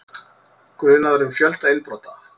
Grunaður um fjölda innbrota